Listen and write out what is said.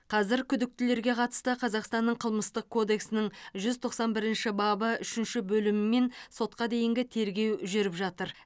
қазір күдіктілерге қатысты қазақстанның қылмыстық кодексінің жүз тоқсан бірінші бабы үшінші бөлімімен сотқа дейінгі тергеу жүріп жатыр